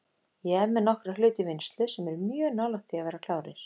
Ég er með nokkra hluti í vinnslu sem eru mjög nálægt því að vera klárir.